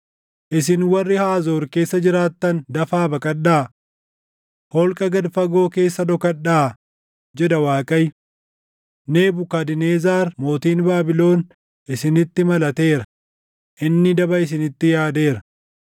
“Isin warri Haazoor keessa jiraattan dafaa baqadhaa! Holqa gad fagoo keessa dhokadhaa” jedha Waaqayyo. “Nebukadnezar mootiin Baabilon isinitti malateera; inni daba isinitti yaadeera.